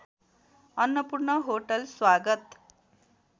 Annapurna hotel स्वागत